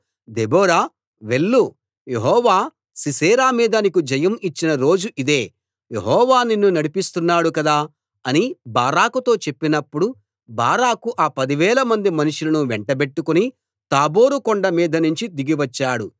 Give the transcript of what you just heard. Deborah వెళ్ళు యెహోవా సీసెరా మీద నీకు జయం ఇచ్చిన రోజు ఇదే యెహోవా నిన్ను నడిపిస్తున్నాడు కదా అని బారాకుతో చెప్పినప్పుడు బారాకు ఆ పదివేలమంది మనుషులను వెంటబెట్టుకుని తాబోరు కొండ మీదినుంచి దిగి వచ్చాడు